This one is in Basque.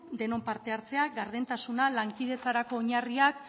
denon parte hartzea gardentasuna lankidetzarako oinarriak